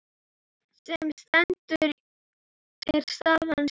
Sem stendur er staðan snúin.